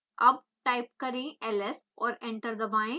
अब टाइप करें ls और एंटर दबाएं